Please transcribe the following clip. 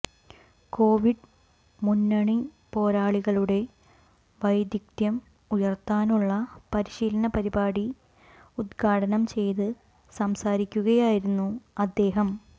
Covid മുന്നണിപ്പോരാളികളുടെ വൈദഗ്ധ്യം ഉയർത്താനുള്ള പരിശീലന പരിപാടി ഉദ്ഘാടനം ചെയ്ത് സംസാരിക്കുകയായിരുന്നു അദ്ദേഹം